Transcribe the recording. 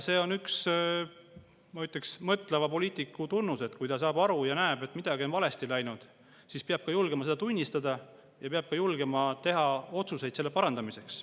See on üks, ma ütleks, mõtleva poliitiku tunnus, et kui ta näeb ja saab aru, et midagi on valesti läinud, siis ta julgeb seda tunnistada ja julgeb teha otsuseid selle parandamiseks.